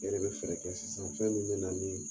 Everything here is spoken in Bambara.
E de bɛ fɛɛrɛ kɛ sisan fɛn min bɛ na ni